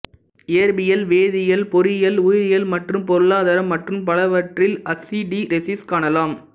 இயற்பியல் வேதியியல் பொறியியல் உயிரியல் மற்றும் பொருளாதாரம் மற்றும் பலவற்றில் ஹஸ்டீரெஸிஸ் காணலாம்